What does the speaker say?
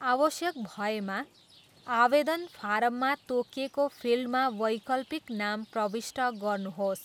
आवश्यक भएमा, आवेदन फारममा तोकिएको फिल्डमा वैकल्पिक नाम प्रविष्ट गर्नुहोस्।